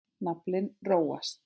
Naflinn róast.